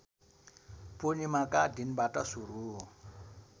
पूर्णिमाका दिनबाट सुरु